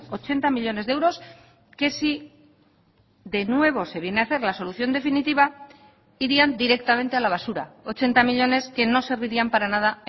ochenta millónes de euros que si de nuevo se viene a hacer la solución definitiva irían directamente a la basura ochenta millónes que no servirían para nada